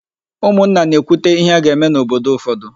Ụmụnna na-ekwute íhé a ga-eme n'obodo ụfọdụ.